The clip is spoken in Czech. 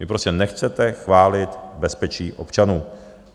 Vy prostě nechcete chránit bezpečí občanů.